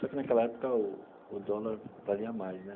Só que, naquela época, o o dólar valia mais, né?